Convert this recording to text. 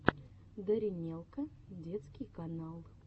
даринелка детский канал